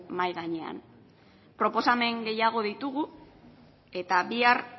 mahai gainean proposamen gehiago ditugu eta bihar